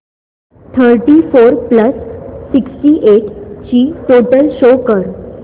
thirty four plus sixty eight ची total show कर